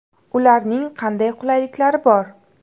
Ularning qanday qulayliklari bor?